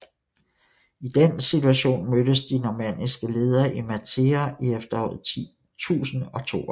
I den situation mødtes de normanniske ledere i Matera i efteråret 1042